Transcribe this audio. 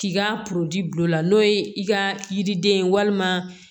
K'i ka bil'o la n'o ye i ka yiriden ye walima